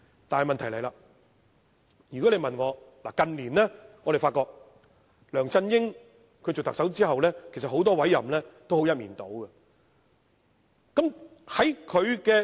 但是，問題便來了，我們發覺梁振英擔任特首後，近年很多委任也是一面倒。